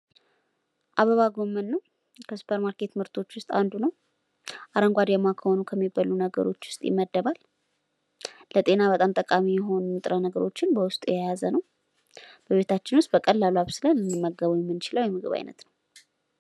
አበባ ጎመን ነው፣ ከሱፐርማርኬት ምርቶች ዉስጥ አንዱ ነው፣ አረንጓዴማ ከሆኑ ከሚበሉ ነገሮች ዉስጥ ይመደባል፣ ለጤና በጣም ጠቃሚ የሆኑ ንጥረ ነገሮችን በዉስጡ የያዘ ነው፣ በቤታችን በቀላሉ አብስለን ልንመገበዉ የምንችለዉ የምግብ አይነት ነው።